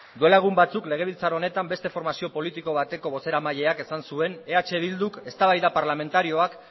duela egun batzuk legebiltzar honetan beste formazio politiko bateko bozeramaileak esan zuen eh bilduk eztabaida parlamentarioak